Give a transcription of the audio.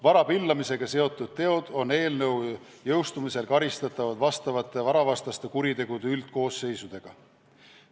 Vara pillamisega seotud teod on eelnõu jõustumisel karistatavad vastavate varavastaste kuritegude üldkoosseisude järgi.